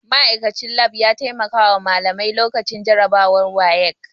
Ma'aikachin lab ya taimakawa malamai lokacin jarabawar WAEC